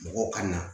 Mɔgɔw ka na